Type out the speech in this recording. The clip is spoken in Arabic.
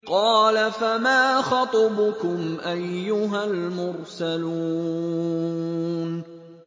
۞ قَالَ فَمَا خَطْبُكُمْ أَيُّهَا الْمُرْسَلُونَ